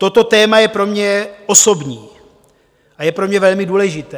Toto téma je pro mě osobní a je pro mě velmi důležité.